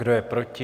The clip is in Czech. Kdo je proti?